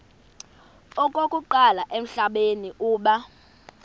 okokuqala emhlabeni uba